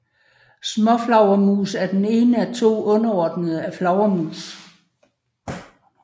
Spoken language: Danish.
Småflagermus er den ene af to underordner af flagermus